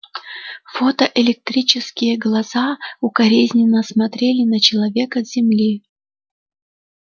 фотоэлектрические глаза укоризненно посмотрели на человека с земли